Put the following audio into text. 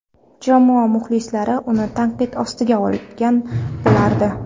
Jamoa muxlislari uni tanqid ostiga olgan bo‘lardi.